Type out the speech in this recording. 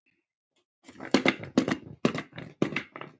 En oftast er það